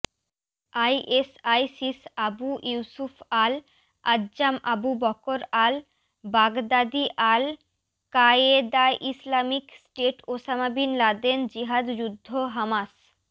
আইএসআইসিসআবু Yusuf al আজ্জামআবু Bakr al বাগদাদীআল ক্বায়েদাইসলামিক স্টেটওসামা বিন লাদেনজিহাদযুদ্ধহামাস